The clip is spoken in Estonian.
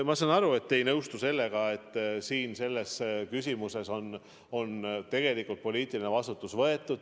Ma saan aru, et te ei nõustu sellega, et selles küsimuses on tegelikult poliitiline vastutus võetud.